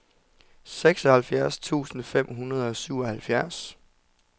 seksoghalvfjerds tusind fem hundrede og syvoghalvfjerds